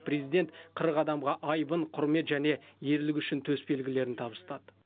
президент қырық адамға айбын құрмет және ерлігі үшін төсбелгілерін табыстады